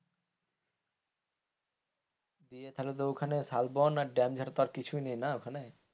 দিয়ে তাহলে তো ওখানে শালবন আর ড্যাম ছাড়া কিছুই নেই না ওখানে,